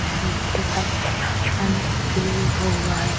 ज़मीन भी दिखाई दे रही है। हुआ है।